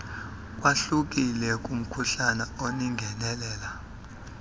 ukwahlukile kumkhuhlane olingenelela